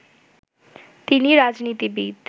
তিনি রাজনীতিবিদ